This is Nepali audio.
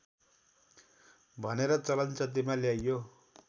भनेर चलनचल्तीमा ल्याइयो